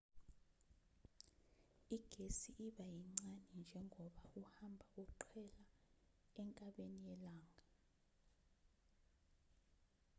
igesi iba yincane njengoba uhamba uqhela enkabeni yelanga